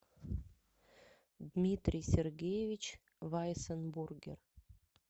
дмитрий сергеевич вайсенбургер